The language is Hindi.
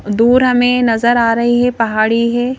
दूर हमें नजर आ रही है पहाड़ी है.